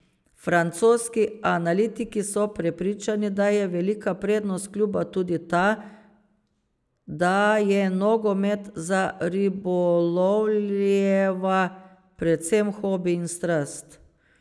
Francoski analitiki so prepričani, da je velika prednost kluba tudi ta, da je nogomet za Ribolovljeva predvsem hobi in strast.